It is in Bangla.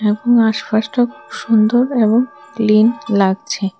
এবং আশপাশটা খুব সুন্দর এবং ক্লিন লাগছে।